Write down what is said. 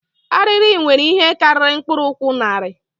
Arịrị nwere ihe karịrị mkpụrụ ụkwụ narị